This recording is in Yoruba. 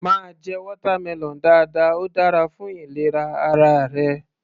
Máa jẹ watermelon dáadáa, óò dára fún ìlera ara rẹ.